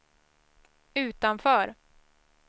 utanför